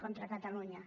contra catalunya